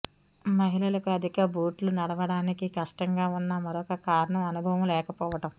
మహిళలకు అధిక బూట్లు నడవడానికి కష్టంగా ఉన్న మరొక కారణం అనుభవం లేకపోవడం